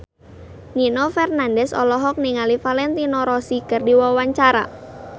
Nino Fernandez olohok ningali Valentino Rossi keur diwawancara